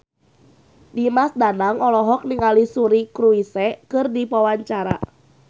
Dimas Danang olohok ningali Suri Cruise keur diwawancara